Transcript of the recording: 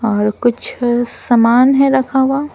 और कुछ सामान है रखा हुआ।